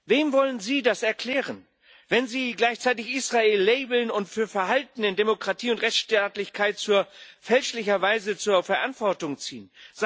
Wem wollen Sie das erklären, wenn Sie gleichzeitig Israel labeln und für Verhalten in Demokratie und Rechtsstaatlichkeit fälschlicherweise zur Verantwortung ziehen?